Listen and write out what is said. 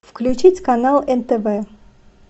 включить канал нтв